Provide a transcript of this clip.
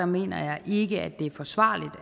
mener jeg ikke at det er forsvarligt